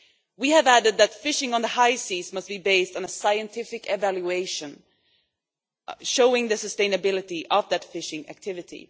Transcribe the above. We have added that fishing on the high seas must be based on a scientific evaluation, showing the sustainability of that fishing activity.